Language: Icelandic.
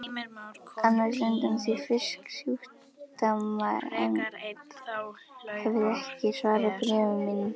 annars undan því að Fisksjúkdómanefnd hefði ekki svarað bréfum mínum.